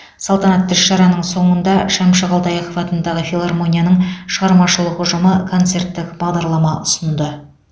салтанатты іс шараның соңында шәмші қалдаяқов атындағы филармонияның шығармашылық ұжымы концерттік бағдарлама ұсынды